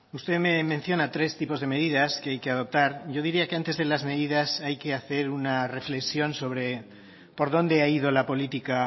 usted me menciona tres tipos de medidas que hay que adoptar yo diría que antes de las medidas hay que hacer una reflexión sobre por dónde ha ido la política